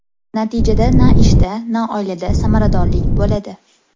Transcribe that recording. Natijada na ishda na oilada samaradorlik bo‘ladi.